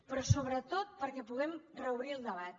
però sobretot perquè puguem reobrir el debat